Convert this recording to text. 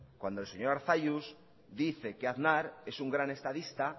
cuando el señor arzalluz dice que aznar es un gran estadista